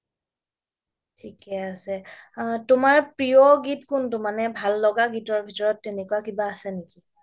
থিকে আছে তোমাৰ প্ৰিয় গীত কোনটো মানে তোমাৰ ভাল লগা গীতৰ ভিতৰত তেনেকুৱা কিবা আছে নেকি